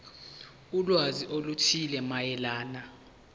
ulwazi oluthile mayelana